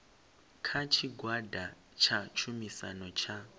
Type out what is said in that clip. kana tshigwada tsha tshumisano tsha